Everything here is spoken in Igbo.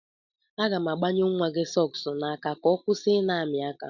Aga m agbanye nwa gị sọks n'aka ka ọ kwụsị ị na-amị aka.